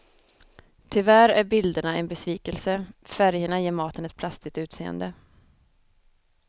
Tyvärr är bilderna en besvikelse, färgerna ger maten ett plastigt utseende.